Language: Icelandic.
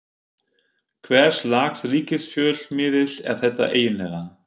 Hvers lags ríkisfjölmiðill er þetta eiginlega?